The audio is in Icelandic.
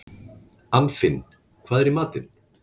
Anfinn, hvað er í matinn?